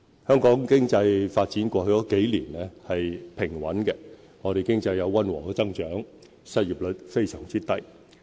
香港經濟發展過去數年是平穩的，我們經濟有溫和增長，失業率非常低。